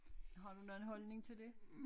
Har du nogen holdning til det